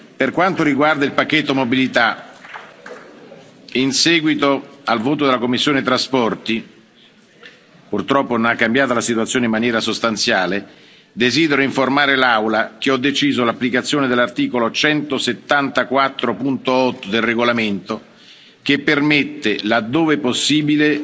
Per quanto riguarda il pacchetto Mobilità, in seguito al voto della commissione per i trasporti purtroppo non è cambiata la situazione in maniera sostanziale desidero informare l'Aula che ho deciso l'applicazione dell'articolo 174, paragrafo 8, del regolamento, che permette, laddove possibile,